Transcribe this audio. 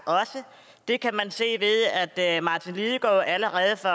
det kan man se ved at martin lidegaard allerede for